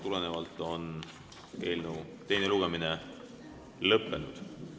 Eelnõu teine lugemine lõppenud.